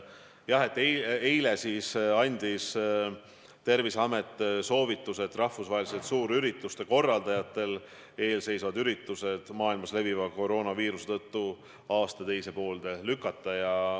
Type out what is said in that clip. Jah, eile andis Terviseamet soovituse, et korraldajad lükkaksid rahvusvahelised suurüritused maailmas leviva koroonaviiruse tõttu aasta teise poolde.